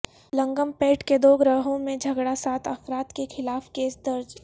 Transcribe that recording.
لنگم پیٹ کے دو گروہوں میں جھگڑا سات افراد کے خلاف کیس درج